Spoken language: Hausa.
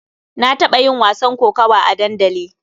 Na taɓa yin wasan kokawa a dandali.